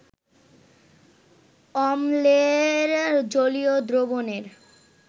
অম্লের জলীয় দ্রবণের